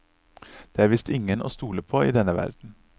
Det er visst ingen å stole på i denne verden.